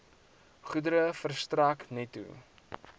goedere verstrek netto